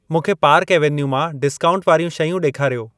मूंखे park avenue मां discount वारियूं शयूं ॾेखारियो।